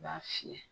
I b'a fiyɛ